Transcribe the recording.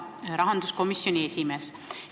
Hea rahanduskomisjoni esimees!